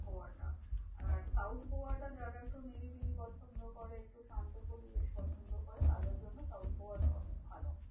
গোয়াটা আর south গোয়াটা যারা একটু নিরিবিলি পছন্দ করে, একটু শান্ত পরিবেশ পছন্দ করে, তাদের জন্য south গোয়াটা অনেক ভালো।